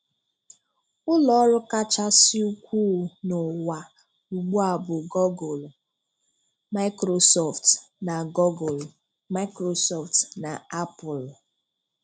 Ụlọ ọrụ kachasị ukwuu n'ụwa ugbu a bụ Google, Microsoft, na Google, Microsoft, na Apple.